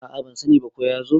a a ban sani ba ko ya zo